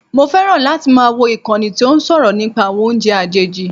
Mo fẹ́ràn láti máa wò ìkànnì tí ó ń sọ̀rọ̀ nípa àwọn oúnjẹ àjèjì